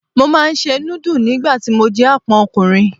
Mo máa ń se núdù ni ìgbà tí mo jẹ́ Àpọ́n ọkùnrin.